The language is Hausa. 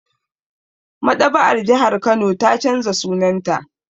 Maɗaba'ar jihar Kano ta canza sunanta